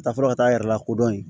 Taa fɔlɔ ka taa a yɛrɛ lakodɔn yen